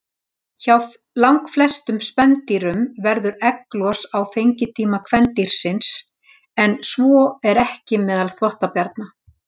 Hjá langflestum spendýrum verður egglos á fengitíma kvendýrsins, en svo er ekki meðal þvottabjarna.